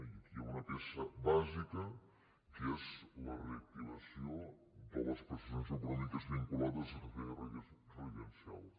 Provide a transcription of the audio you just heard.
i aquí hi ha una peça bàsica que és la reactivació de les prestacions econòmiques vinculades a serveis les pevs que són residencials